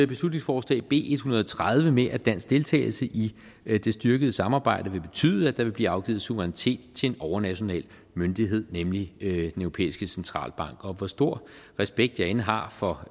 beslutningsforslag b en hundrede og tredive med at dansk deltagelse i det styrkede samarbejde vil betyde at der vil blive afgivet suverænitet til en overnational myndighed nemlig den europæiske centralbank og hvor stor aspekt jeg end har for